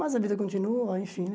Mas a vida continua, enfim, né?